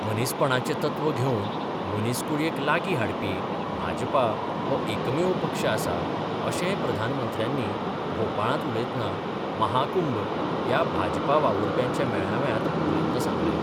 मनीसपणाचें तत्व घेवन, मनीसकुळयेक लागी हाडपी, भाजपा हो एकमेव पक्ष आसा अशेंय प्रधानमंत्र्यानी भोपाळांत उलयतना महाकुंभ ह्या भाजपा वावुरप्यांच्या मेळाव्यात उलैतना सांगले.